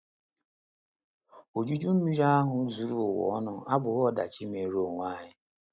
OJUJU Mmiri ahụ zuru ụwa ọnụ abụghị ọdachi meere onwe ya.